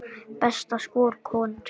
Besta skor, konur